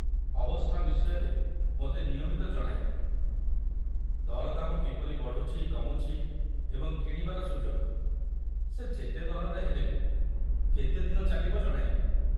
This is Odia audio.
ଅବସ୍ଥା ବିଷୟରେ ମୋତେ ନିୟମିତ ଜଣାଇବେ, ଦରଦାମ କିପରି ବଢ଼ୁଛି କମୁଛି ଏବଂ କିଣିବାର ସୁଯୋଗ ସେ ଯେତେ ଦରରେ ହେଲେ ବି କେତେଦିନ ଚାଲିବ, ଜଣାଇବେ।